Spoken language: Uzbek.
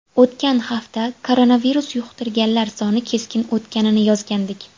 O‘tgan hafta koronavirus yuqtirganlar soni keskin ortganini yozgandik.